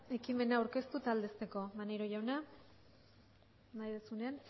ekimena aurkeztu eta aldezteko maneiro jauna nahi duzunean